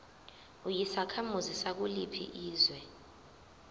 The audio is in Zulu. uyisakhamuzi sakuliphi izwe